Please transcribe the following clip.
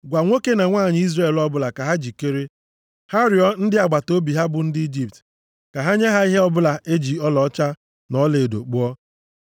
Gwa nwoke na nwanyị Izrel ọbụla ka ha jikere. Ha rịọọ ndị agbataobi ha bụ ndị Ijipt, ka ha nye ha ihe ọbụla e ji ọlaọcha na ọlaedo kpụọ.”